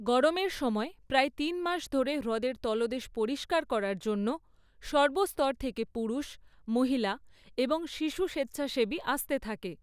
গরমের সময় প্রায় তিন মাস ধরে হ্রদের তলদেশ পরিষ্কার করার জন্য সর্বস্তর থেকে পুরুষ, মহিলা এবং শিশু স্বেচ্ছাসেবী আসতে থাকে।